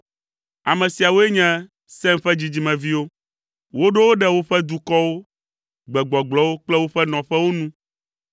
Ame siawoe nye Sem ƒe dzidzimeviwo. Woɖo wo ɖe woƒe dukɔwo, gbegbɔgblɔwo kple woƒe nɔƒewo nu.